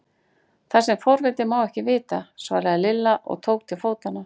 Það sem forvitinn má ekki vita! svaraði Lilla og tók til fótanna.